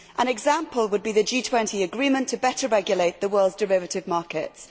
An example would be the G20 agreement to better regulate the world's derivative markets.